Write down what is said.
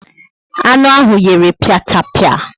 Anu ahụ yere piatapia